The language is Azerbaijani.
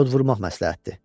Yod vurmaq məsləhətdir.